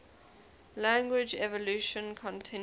language evolution continues